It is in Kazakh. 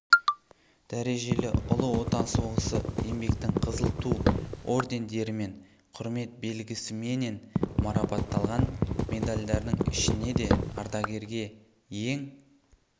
дәрежелі ұлы отан соғысы еңбектің қызыл ту ордендерімен құрмет белгісіменен марапатталған медальдардың ішінеде ардагерге ең